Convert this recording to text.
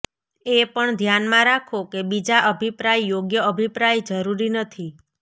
એ પણ ધ્યાનમાં રાખો કે બીજા અભિપ્રાય યોગ્ય અભિપ્રાય જરૂરી નથી